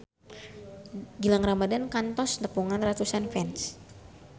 Gilang Ramadan kantos nepungan ratusan fans